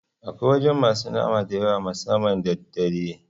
Akwai wajan masu nama da yawa musamman da daddare